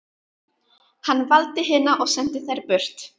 Hann valdi hina og sendi þær burt.